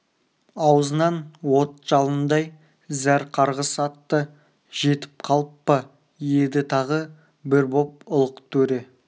аузынан от жалындай зәр қарғыс атты жетіп қалып па еді тағы бір боп ұлық төре